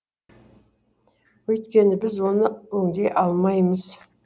өйткені біз оны өңдей алмаймыз